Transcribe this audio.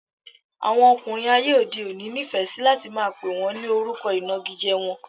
Àwọn ọkùnrin ayé òde òní nifẹ si láti máa pè wọn ní orúkọ inagije wọ́n